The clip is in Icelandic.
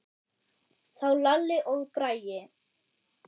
Þá Lalli og Bragi.